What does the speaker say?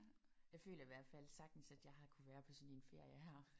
Jeg føler i hvert fald sagtens at jeg har kunnet være på sådan en ferie her